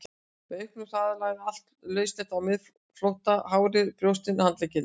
Með auknum hraða lagði allt lauslegt á miðflótta, hárið, brjóstin, handleggirnir.